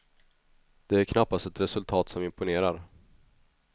Det är knappast ett resultat som imponerar.